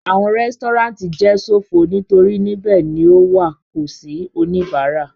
Awọn resturant jẹ sofo nitori nibẹ ni o wa ko si onibara